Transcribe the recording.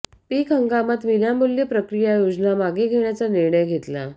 पीक हंगामात विनामूल्य प्रक्रिया योजना मागे घेण्याचा निर्णय घेतला